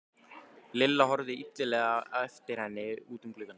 Lilla horfði illilega á eftir henni út um gluggann.